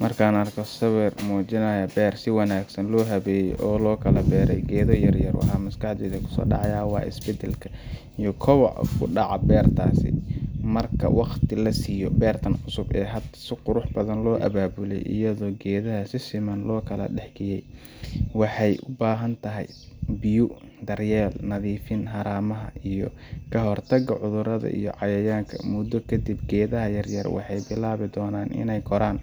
Marka aan arko sawir muujinaya beer si wanaagsan loo habeeyay oo lagu beeray geedo yaryar, waxa maskaxdayda ku soo dhacaya isbeddelka iyo kobaca ka dhaca beertaas marka waqti la siiyo. Beertan cusub ee hadda si qurux badan loo abaabulay, iyadoo geedaha si siman loo kala dhex dhigay, waxay u baahan tahay biyo, daryeel, nadiifin haramaha, iyo ka hortagga cudurrada iyo cayayaanka. Muddo kadib, geedaha yaryar waxay bilaabi doonaan in ay koraan,